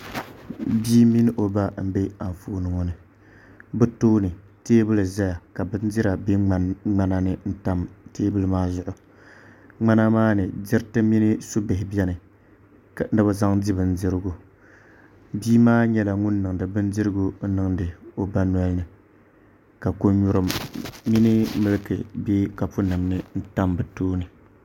Bia mini o ba n bɛ Anfooni ŋo ni bi tooni teebuli ʒɛya ka bindira bɛ ŋmana ni tam teebuli maa zuɣu ŋmana maa ni diriti mini su bihi biɛni ni bi zaŋ di bindirigu bia maa nyɛla ŋun niŋdi bindirigu niŋdi o ba nolini ka ko nyurim mini milki nim bɛ kapu nim ni n tam bi tooni